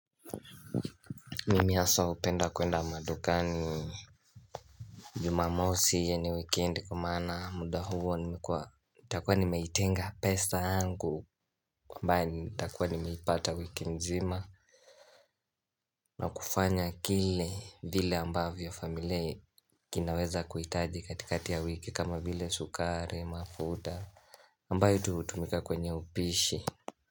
Mimi hasa hupenda kuenda madukani Jumamosi yaani weekend kwa maana muda huo nitakuwa nimaitenga pesa yangu ambaye nitakuwa nimeipata wiki nzima na kufanya kile vile ambavyo familia kinaweza kuhitaji katikati ya wiki kama vile sukari mafuta ambaye hutumika kwenye upishi.